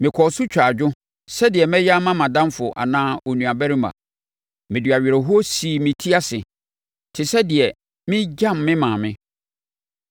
mekɔɔ so twaa adwo sɛdeɛ meyɛ ma mʼadamfo anaa onuabarima. Mede awerɛhoɔ sii me ti ase te sɛ deɛ meregyam me maame.